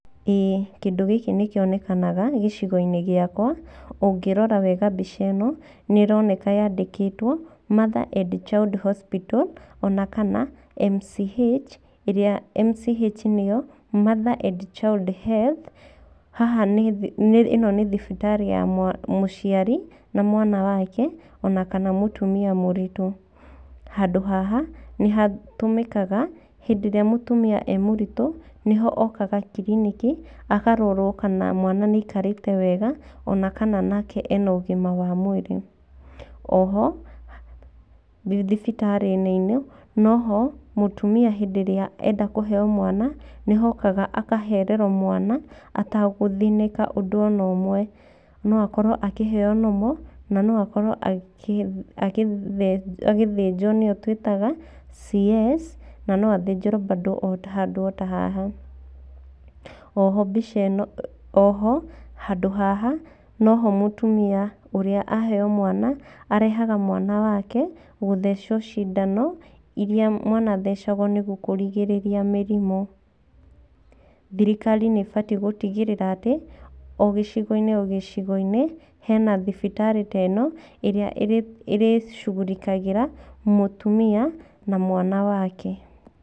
ĩĩ kĩndũ gĩkĩ nĩkĩonekanaga gĩcigo-inĩ gĩakwa, ũngĩrora wega mbica ĩno, nĩ ĩroneka yandĩkĩtwo Mother and Child Hospital, ona kana MCH, ĩrĩa MCH nĩyo Mother and Child Health. Haha nĩ ĩno nĩ thibitarĩ ya mũciari na mwana wake, ona kana mũtumia mũritũ. Handũ haha, nĩ hatũmĩkaga hĩndĩ ĩrĩa mũtumia e mũritũ, nĩho okaga kiriniki, akarorwo kana mwana nĩ aikarĩte wega, ona kana nake ena ũgima wa mwĩrĩ. O ho, ndĩ thibitarĩ-inĩ ĩno, no ho mũtumia hĩndĩ ĩrĩa enda kũheyo mwana, nĩ ho okaga akahererwo mwana, atagũthĩnĩka ũndũ onomwe, no akorwo akĩheyo normal na no akorwo agĩthĩnjwo nĩyo twĩtaga CS, na no athĩnjĩrwo bado o handũ o ta haha. O ho mbica ĩno, o ho handũ haha no ho mũtumia rĩrĩa aheyo mwana, arehaga mwana wake gũthecwo cindano, iria mwana athecagwo nĩguo kũrigĩrĩria mĩrimũ. Thirikari nĩ ĩbatiĩ gũtigĩrĩra atĩ, o gĩcigo-inĩ o gĩcigo-inĩ, hena thibitarĩ ta ĩno, ĩrĩa ĩrĩcugurikagĩra mũtumia na mwana wake.